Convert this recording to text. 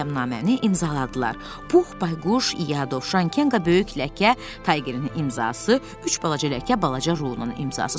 Beləcə bəyannaməni imzaladılar: Pux, Bayquş, İya, Dovşan, Kenqa, böyük ləkə, Taygerin imzası, üç balaca ləkə balaca Runun imzası.